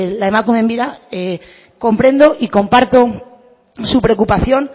la emakumeen bira comprendo y comparto su preocupación